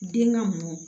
Den ŋa mɔ